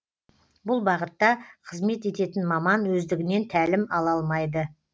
бұл бағытта қызмет ететін маман өздігінен тәлім ала алмайды